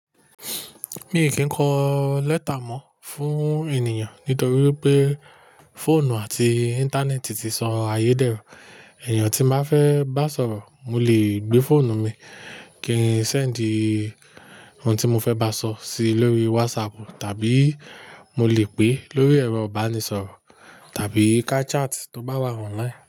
Mi kì í kọ lẹ́tà mọ fún ènìyàn nítorí pé fóònù àti íńtánẹ́ẹ̀tì ti sọ ayédèrú. Ẹ̀èyàn tí máa fẹ́ bá sọ̀rọ̀, mo lè gbé fóònù mi kí n sẹ̀ẹ́dì ohun tí mo fẹ bá sọ síi lórí wásápù tàbí mo lè pè lórí ẹ̀rọ ìbánisọ̀rọ̀ tàbí ká chat tó bá wà online.